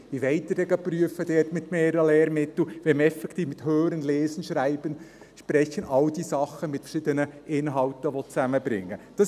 Wie wollen Sie denn da prüfen, mit mehreren Lehrmitteln, wenn man hören, lesen, schreiben, sprechen, all diese Dinge, mit verschiedenen Inhalten zusammenbringen will?